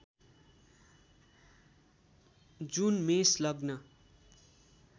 जुन मेष लग्न